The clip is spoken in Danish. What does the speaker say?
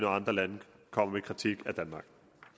andre lande kommer med kritik af danmark